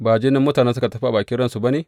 Ba jinin mutanen da suka tafi a bakin ransu ba ne?